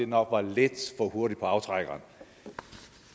nok var lidt for hurtig på aftrækkeren